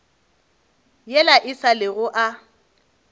yela e sa lego a